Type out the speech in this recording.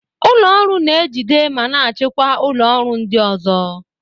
Ụlọ ọrụ na-ejide ma na-achịkwa ụlọ ọrụ ndị ọzọ.